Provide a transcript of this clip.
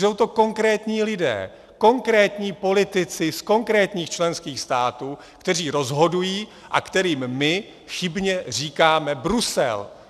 Jsou to konkrétní lidé, konkrétní politici z konkrétních členských států, kteří rozhodují a kterým my chybně říkáme Brusel.